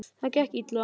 Það gekk illa.